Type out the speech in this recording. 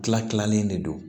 Kila kilalen de don